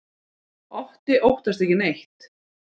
Otti óttast ekki neitt!